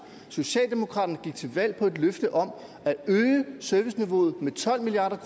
socialdemokraterne gik til valg på et løfte om at øge serviceniveauet med tolv milliard